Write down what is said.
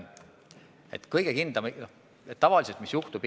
Mis aga sel juhul tavaliselt juhtub?